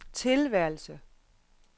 tilværelse